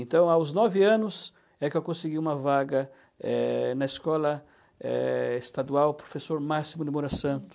Então, aos nove anos é que eu consegui uma vaga eh na escola eh, estadual professor Máximo de Moura Santos.